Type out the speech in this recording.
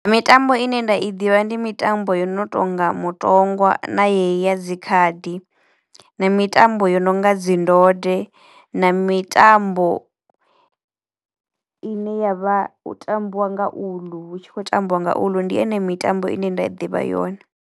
Mitambo ine nda i ḓivha ndi mitambo yo no tonga mutongwa na yeneyi ya dzikhadi na mitambo yo no nga dzi ndode na mitambo ine yavha u tambiwa nga uḽu, hu tshi khou tambiwa nga uḽu. Ndi ene mitambo ine nda i ḓivha yone.